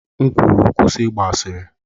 M kwuru, kwụsị ịgba asịrị!